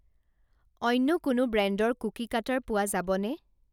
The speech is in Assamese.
অন্য কোনো ব্ৰেণ্ডৰ কুকি কাটাৰ পোৱা যাবনে?